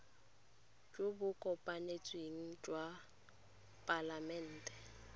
jo bo kopanetsweng jwa palamente